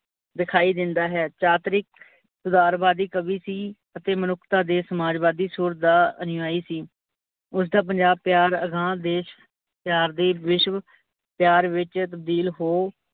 ਦਿਖਾਈ ਦਿੰਦਾ ਹੈ। ਚਾਤਰਿਕ ਸੁਧਾਰਵਾਦੀ ਕਵੀ ਸੀ, ਅਤੇ ਮਨੁੱਖਤਾ ਦੇ ਸਮਾਜਵਾਦੀ ਸੂਰ ਦਾ ਅਨੂਆਈ ਸੀ, ਉਸਦਾ ਪੰਜਾਬ ਪਿਆਰ ਅਗਾਂਹ ਦੇਸ਼ ਪਿਆਰ ਤੇ ਵਿਸ਼ਵ ਪਿਆਰ ਵਿੱਚ ਤਬਦੀਲ ਹੋ